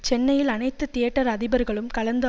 சென்னையில் அனைத்து தியேட்டர் அதிபர்களும் கலந்து